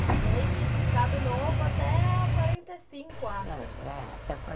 E aí fica Estado Novo até quarenta e cinco, eu acho. É